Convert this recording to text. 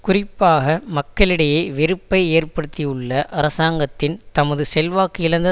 குறிப்பாக மக்களிடையே வெறுப்பை ஏற்படுத்தியுள்ள அரசாங்கத்தின் தமது செல்வாக்கிழந்த